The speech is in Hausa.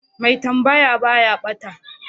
mai tambaya baya bata